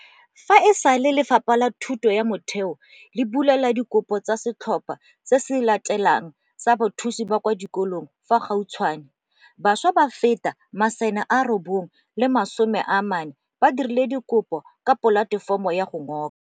Fa e sale Lefapha la Thuto ya Motheo le bulela dikopo tsa setlhopha se se latelang sa bathusi ba kwa di kolong fa gautshwane, bašwa ba feta 94 000 ba dirile dikopo ka polatefomo ya go ngoka.